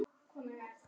Það kvelst.